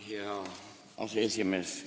Hea aseesimees!